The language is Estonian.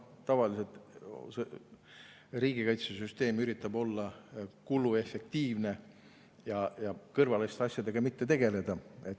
Tavaliselt üritab riigikaitsesüsteem olla kuluefektiivne ja kõrvaliste asjadega mitte tegeleda.